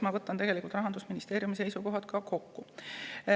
Ma võtan ka Rahandusministeeriumi seisukohad kokku.